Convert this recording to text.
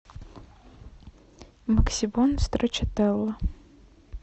максибон страчателла